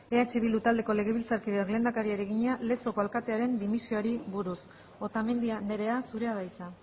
eh bildu taldeko legebiltzarkideak lehendakariari egina lezoko alkatearen dimisioari buruz otamendi andrea zurea da hitza